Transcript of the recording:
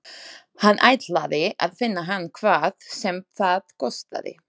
Hann ætlaði að finna hann hvað sem það kostaði.